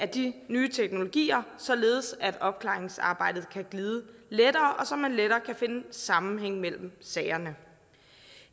de nye teknologier således at opklaringsarbejdet kan glide lettere og så man lettere kan finde sammenhæng mellem sagerne